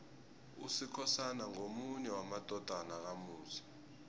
usikhosana ngomunye wamadodana kamusi